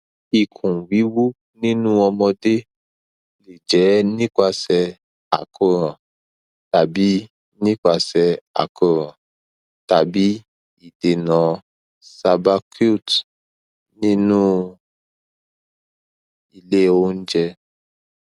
ikun wiwu ninu omode le je nipase akoran tabi nipase akoran tabi idena subacute ninu ile ounje